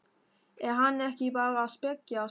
Er hann ekki bara að spekjast?